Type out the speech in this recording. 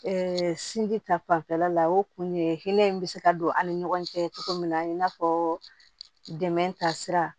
sinji ta fanfɛla la o kun ye hinɛ in bɛ se ka don an ni ɲɔgɔn cɛ cogo min na i n'a fɔ dɛmɛ ta sira